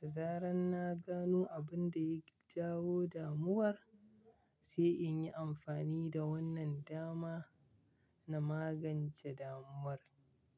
Da zarar na gano abin da ya jawo damuwar, sai in yi amfani da wannan dama na magance damuwar.